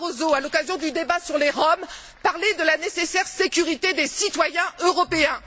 M. Barroso, à l'occasion du débat sur les Roms, parler de la nécessaire sécurité des citoyens européens.